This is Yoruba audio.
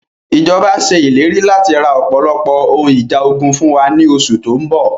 Ìjọba ṣe ìlérí láti ra ọpọlọpọ ohun ìjà ogun fún wa ní oṣù tóun bọ̀